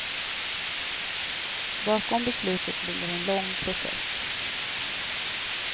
Bakom beslutet ligger en lång process.